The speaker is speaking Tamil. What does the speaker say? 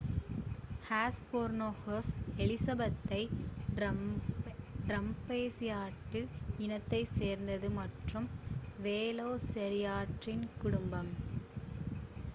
ஹெஸ்பெரோனிகஸ் எலிசபெதே ட்ரோமேயோசாவ்ரிடே இனத்தைச் சேர்ந்தது மற்றும் வேலோசிராப்டரின் குடும்பம்